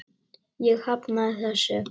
Ég hafnaði þessu.